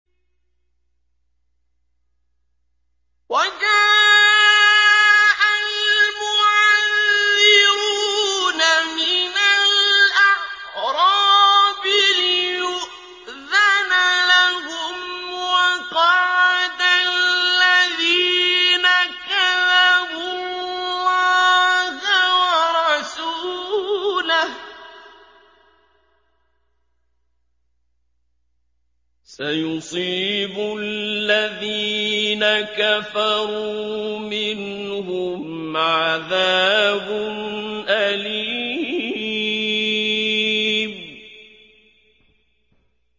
وَجَاءَ الْمُعَذِّرُونَ مِنَ الْأَعْرَابِ لِيُؤْذَنَ لَهُمْ وَقَعَدَ الَّذِينَ كَذَبُوا اللَّهَ وَرَسُولَهُ ۚ سَيُصِيبُ الَّذِينَ كَفَرُوا مِنْهُمْ عَذَابٌ أَلِيمٌ